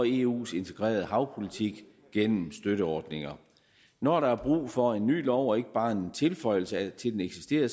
eus integrerede havpolitik gennem støtteordninger når der er brug for en ny lov og ikke bare en tilføjelse til den eksisterende